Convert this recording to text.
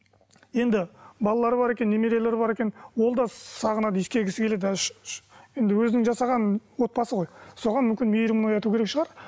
енді балалары бар екен немерелері бар екен ол да сағынады иіскегісі келеді енді өзінің жасаған отбасы ғой соған мүмкін мейірімін ояту керек шығар